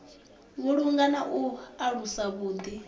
vhulunga na u alusa vhuḓi